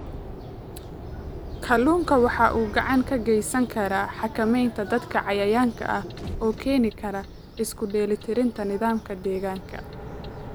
Kalluunku waxa uu gacan ka geysan karaa xakamaynta dadka cayayaanka ah oo keeni kara isku dheelitirnaanta nidaamka deegaanka.